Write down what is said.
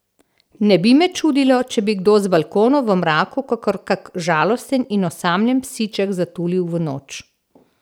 Ne bi me čudilo, če bi kdo z balkona v mraku kakor kak žalosten in osamljen psiček zatulil v noč.